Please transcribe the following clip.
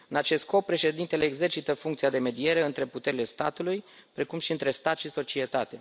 În acest scop, Președintele exercită funcția de mediere între puterile statului, precum și între stat și societate.